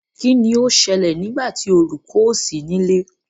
kín ni ó ṣẹlẹ̀ nígbà tí olùkọ ò sí nílé?